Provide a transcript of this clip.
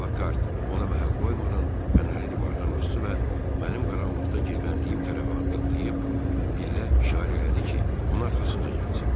Pakhard, ona məhəl qoymadan fənəri divardan asdı və mənim qaranlıqda gizləndiyim tərəfə addımlayıb, billə işarə elədi ki, onun arxasınca gəlsin.